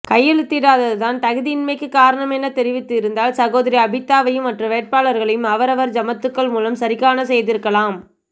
கையெழுத்திடாதுதான் தகுதியின்மைக்கு காரணம் என தெரிவித்து இருந்தால் சகோதரி ஆபிதாவையும் மற்ற வேட்பாளர்களையும் அவரவர் ஜமத்துக்கள் மூலம் சரிகாணச்செய்திருக்கலாம்